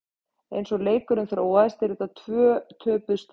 Eins og leikurinn þróaðist eru þetta tvö töpuð stig.